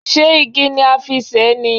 Ṣé igi ni a fi ṣe é ni?